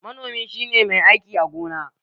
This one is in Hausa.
Manomi shi ne mai aiki a gona.